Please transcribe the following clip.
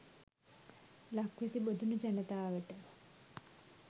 ලක්වැසි බොදුනු ජනතාවට